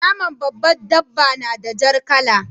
Naman babbar dabba na da jar kala.